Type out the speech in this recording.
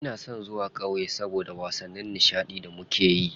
Ina son zuwa ƙauye saboda wasanni nishaɗi da muke yi.